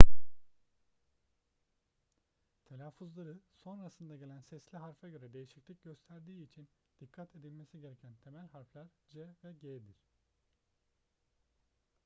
telaffuzları sonrasında gelen sesli harfe göre değişiklik gösterdiği için dikkat edilmesi gereken temel harfler c ve g'dir